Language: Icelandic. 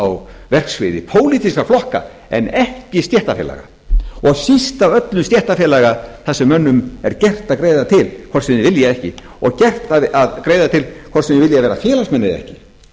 á verksviði pólitískra flokk en ekki stéttarfélaga og síst af öllu stéttarfélaga þar sem mönnum er gert að greiða til hvort sem þeir vilja eða ekki og gert að greiða til hvort sem þeir vilja vera félagsmenn eða ekki